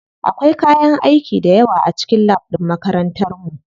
Akwai kayan aiki dayawa a cikin lab ɗin makarantar mu.